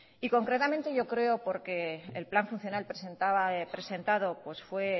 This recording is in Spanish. y concretamente yo creo porque el plan funcional presentado fue